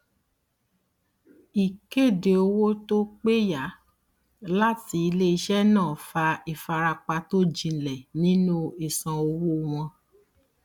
ìkéde owó tó péyà láti iléiṣẹ náà fa ìfarapa tó jinlẹ nínú ìsan owó wọn